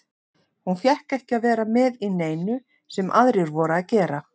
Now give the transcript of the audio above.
Hún fékk ekki að vera með í neinu sem aðrir voru að gera.